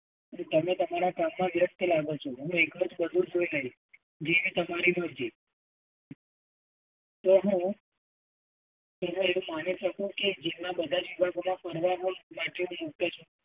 તમે તમારા કામમાં વ્યસ્ત લાગો છો. હું એકલો જ બધુ જોઈ લઇશ, જેવી તમારી મરજી. તો હું